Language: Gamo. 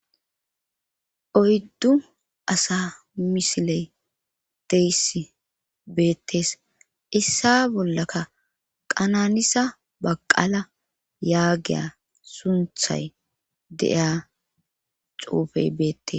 Oyddu asa misiley deyssi beettes issa bollaka qananisa baqala yaagiya sunthay de7iya xuufey beettes